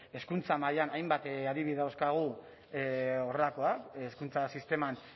hezkuntza mailan hainbat adibide dauzkagu horrelakoak hezkuntza sisteman